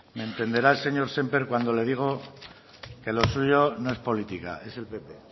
me entenderá el señor sémper cuando le digo que lo suyo no es política es el pp